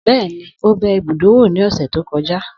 Bẹ́ẹ̀ni, ó bẹ ibùdó wò ní ní ọ̀sẹ̀ tó kọjá